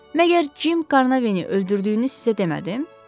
Məgər Jim Carnaveni öldürdüyünü sizə demədim?